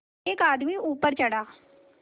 एक आदमी ऊपर चढ़ा